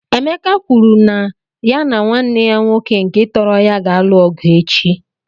Emeka kwuru na ya na nwanne ya nwoke nke tọrọ ya ga-alụ ọgụ echi.